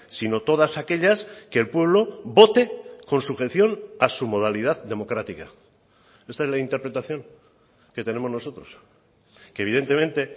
sino todas aquellas que el pueblo vote con sujeción a su modalidad democrática esta es la interpretación que tenemos nosotros que evidentemente